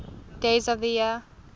days of the year